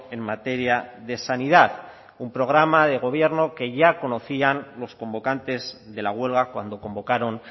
en materia de sanidad un programa de gobierno que ya conocían los convocantes de la huelga cuando convocaron